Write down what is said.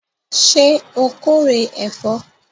Ṣé o kórè ẹ̀fọ́?